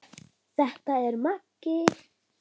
Hvorugu þeirra.